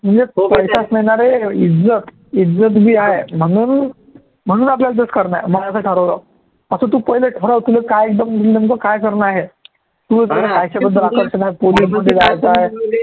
म्हणजे पैसाचं नाही ना रे इज्जत इज्जत बी आहे, म्हणून म्हणून आपल्याले तेच करनं आहे मी असं ठरवलं असं तू पहिले ठराव की तुले काय नेम नेमकं काय करनं आहे